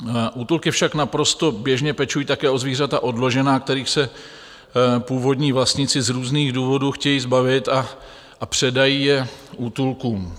Útulky však naprosto běžně pečují také o zvířata odložená, kterých se původní vlastníci z různých důvodů chtějí zbavit, a předají je útulkům.